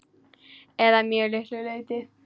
Eða að mjög litlu leyti.